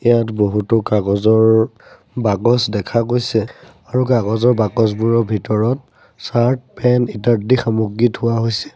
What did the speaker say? ইয়াত বহুতো কাগজৰ বাকচ দেখা গৈছে আৰু কাগজৰ বাকচবোৰৰ ভিতৰত চাৰ্ট পেন্ট ইত্যাদি সামগ্ৰী থোৱা হৈছে।